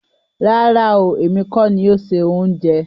Rárá ooo, èmi kọ́ ni o se ohunjẹ.